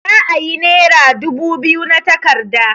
Za'a yi nera dubu biyu na takarda.